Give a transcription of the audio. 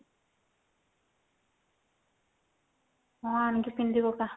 ହଁ ଆଣିକି ପିନ୍ଧିପକା